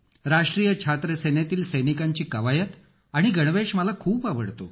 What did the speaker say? राष्ट्रीय छात्र सेनेतील सैनिकांची कवायत आणि गणवेश मला खूप आवडतो